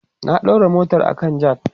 na daura motar a kan jack